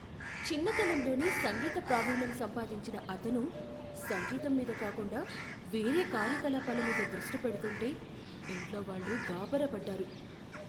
చిన్నతనంలోనే సంగీత ప్రావీణ్యం సంపాదించిన అతను సంగీతం మీద కాకుండా వేరే కార్యకలాపాల మీద దృష్టి పెడుతుంటే ఇంట్లోవాళ్ళు గాభరా పడ్డారు.